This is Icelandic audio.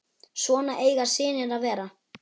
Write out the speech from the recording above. Svona eiga synir að vera.